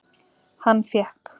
Hann fékk